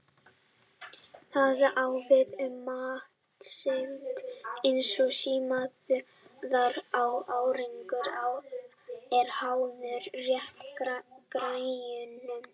Það á við um matseld eins og smíðar að árangurinn er háður réttu græjunum.